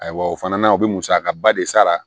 Ayiwa o fana na u bɛ musakaba de sara